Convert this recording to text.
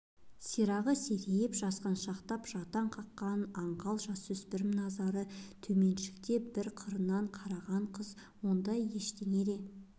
сирағы серейіп жасқаншақтап жаутаң қаққан аңғал жасөспірім назары төменшіктеп бір қырын қараған қыз ондай ештеңе де